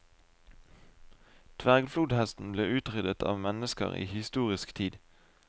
Dvergflodhesten ble utryddet av mennesker i historisk tid.